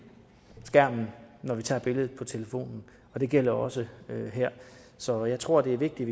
skærmen når vi tager billeder med telefonen det gælder også her så jeg tror det er vigtigt